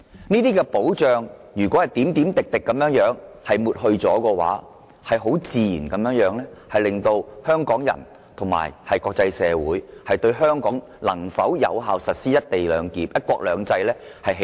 如果這些保障一點一滴地被抹去，自然會令香港人和國際社會質疑香港能否繼續有效實施"一國兩制"。